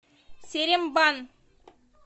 серембан